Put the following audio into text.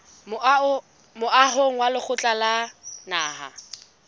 moahong wa lekgotla la naha